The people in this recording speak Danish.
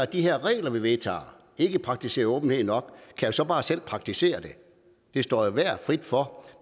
de regler vi vedtager ikke praktiserer åbenhed nok kan så bare selv praktisere det det står enhver frit for